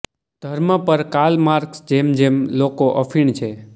ધર્મ પર Karl Marx જેમ જેમ લોકો અફીણ છે